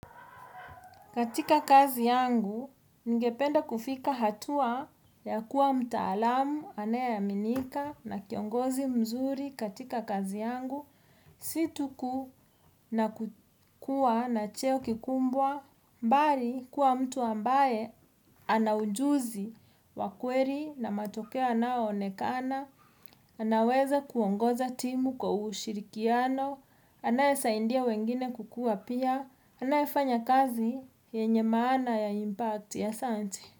Katika kazi yangu, ningependa kufika hatua ya kuwa mtaalamu, anayeaminika na kiongozi mzuri katika kazi yangu. Si tuu kukuwa na cheo kikubwa, bali kuwa mtu ambaye ana ujuzi wa kweli na matokeo yanayoonekana, anaweza kuongoza timu kwa ushirikiano, anayesaidia wengine kukua pia, anayefanya kazi yenye maana ya impacti, asanti.